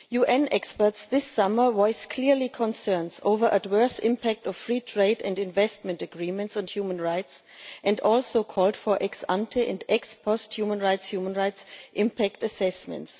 UN experts this summer voiced clear concerns over the adverse impact of free trade and investment agreements on human rights and also called for ex-ante and ex-post human rights impact assessments.